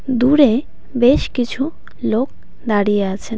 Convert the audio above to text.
দূরে বেশ কিছু লোক দাঁড়িয়ে আছেন .